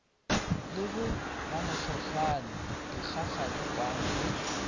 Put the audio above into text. le bo mamohlohlwane dikgakgaripane le